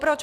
Proč?